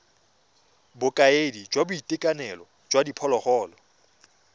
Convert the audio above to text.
bokaedi jwa boitekanelo jwa diphologolo